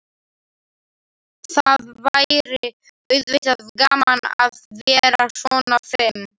Það væri auðvitað gaman að vera svona fim.